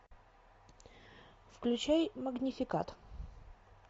включай магнификат